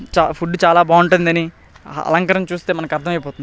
చ ఫుడ్ చాలా బాగుంటుందని అ అలంకరణ చూస్తే మనకు అర్థమైపోతుంది.